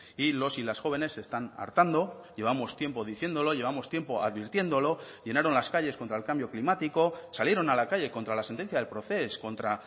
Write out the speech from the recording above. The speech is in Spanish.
y los y las jóvenes están hartando llevamos tiempo diciéndolo llevamos tiempo advirtiéndolo llenaron las calles contra el cambio climático salieron a la calle contra la sentencia del procés contra